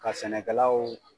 Ka sɛnɛkɛ law